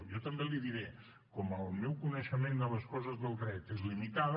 jo també li diré com el meu coneixement de les coses del dret és limitada